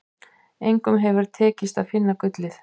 Engum hefur tekist að finna gullið.